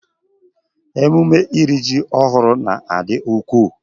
Emume iri ji ọhụrụ n'adị ukwuu